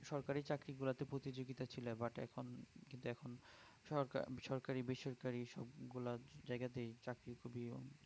সরকারি চাকরি গুলোতে প্রতিযোগিতা ছিল but এখন সরকার~ সরকারি ও বেসরকারি সব গুলো জায়গাতেই চাকরি খুবই